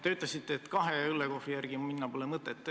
Te ütlesite, et kahe õllekohvri järele minna pole mõtet.